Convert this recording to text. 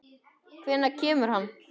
Hvenær kemur hann?